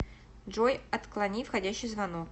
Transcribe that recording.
джой отклони входящий звонок